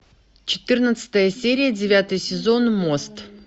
четырнадцатая серия девятый сезон мост